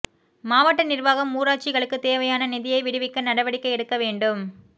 மாவட்ட நிர்வாகம் ஊராட்சிகளுக்கு தேவையான நிதியை விடுவிக்க நடவடிக்கை எடுக்க வேண்டும்